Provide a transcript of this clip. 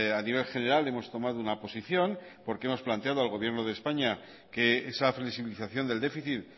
a nivel general hemos tomado una posición porque hemos planteado al gobierno de españa que esa flexibilización del déficit